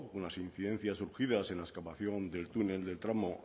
con las incidencias surgidas en la excavación del túnel del tramo